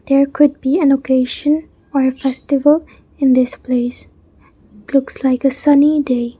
there could be an occasion or a festival in this place looks like a sunny day.